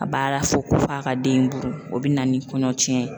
A b'a la fo ko f'a k'a den in buru o bɛna ni kɔɲɔcɛn ye.